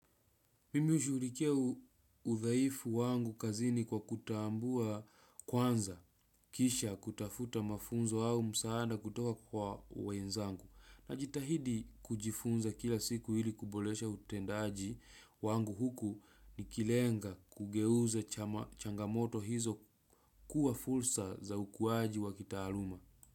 Mimi hushughulikia udhaifu wangu kazini kwa kutaambua kwanza kisha kutafuta mafunzo au msaada kutoka kwa wenzangu najitahidi kujifunza kila siku ili kuboresha utendaji wangu huku nikilenga kugeuza changamoto hizo kuwa fursa za ukuwaji wa kitaaluma.